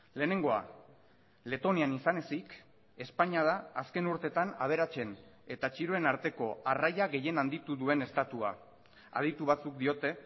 lehenengoa letonian izan ezik espainia da azken urtetan aberatsen eta txiroen arteko arraia gehien handitu duen estatua aditu batzuk diote